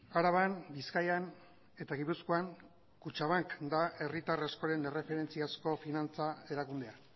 araban bizkaian eta gipuzkoan kutxabank da herritar askoren erreferentziazko finantza erakundea